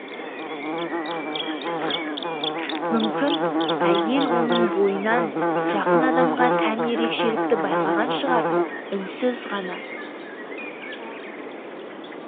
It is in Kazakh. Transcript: мүмкін әйел оның бойынан жақын адамға тән ерекшелікті байқаған шығар үнсіз ғана